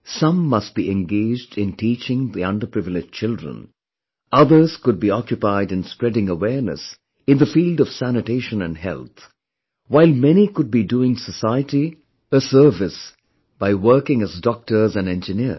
Some must be engaged in teaching underprivileged children, others could be occupied in spreading awareness in the field of sanitation and health, while many could be doing society a service by working as Doctor and Engineers